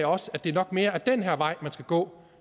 også at det nok mere er den her vej man skal gå